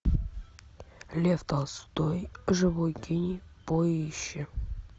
лев толстой живой гений поищи